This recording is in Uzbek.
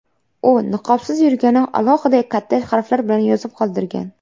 U niqobsiz yurganini alohida, katta harflar bilan yozib qoldirgan.